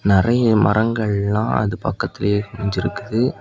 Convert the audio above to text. நெறைய மரங்கள்லா அது பக்கத்திலேயே அமைஞ்சிருக்குது.